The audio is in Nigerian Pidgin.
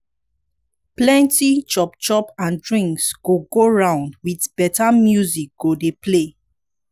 plenti chop chop and drinks go go round with beta music go dey play